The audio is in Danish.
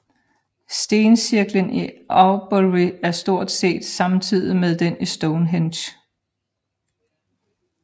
Stencirklen i Avebury er stort set samtidig med den i Stonehenge